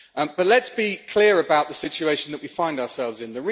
But let's be clear about the situation that we find ourselves in.